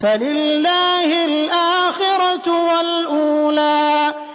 فَلِلَّهِ الْآخِرَةُ وَالْأُولَىٰ